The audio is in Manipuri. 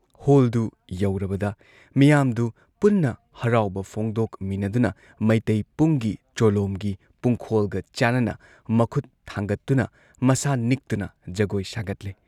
ꯍꯣꯜꯗꯨ ꯌꯧꯔꯕꯗ ꯃꯤꯌꯥꯝꯗꯨ ꯄꯨꯟꯅ ꯍꯔꯥꯎꯕ ꯐꯣꯡꯗꯣꯛꯃꯤꯟꯅꯗꯨꯅ ꯃꯩꯇꯩ ꯄꯨꯡꯒꯤ ꯆꯣꯂꯣꯝꯒꯤ ꯄꯨꯡꯈꯣꯜꯒ ꯆꯥꯟꯅꯅ ꯃꯈꯨꯠ ꯊꯥꯡꯒꯠꯇꯨꯅ , ꯃꯁꯥ ꯅꯤꯛꯇꯨꯅ ꯖꯒꯣꯏ ꯁꯥꯒꯠꯂꯦ ꯫